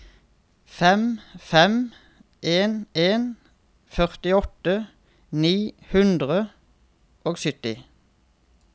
fem fem en en førtiåtte ni hundre og sytti